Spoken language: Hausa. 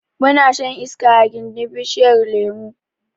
Muna shan iska a gindin bishiyar lemo